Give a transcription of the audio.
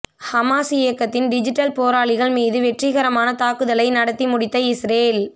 Hamas இயக்கத்தின் digital போராளிகள் மீது வெற்றிகரமான தாக்குதலை நடத்தி முடித்த இஸ்ரேல்